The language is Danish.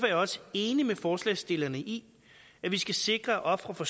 jeg også enig med forslagsstillerne i at vi skal sikre at ofre for